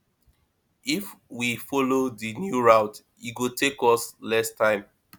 if we follow that new route e go take us less time